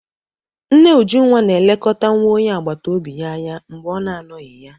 Nne Ujunwa na-elekọta nwa onye agbata obi ya anya mgbe ọ na-anọghị ya.